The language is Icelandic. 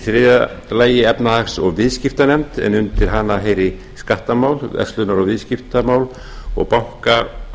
þriðja efnahags og viðskiptanefnd undir hana heyri skattamál verslunar viðskipta og bankamál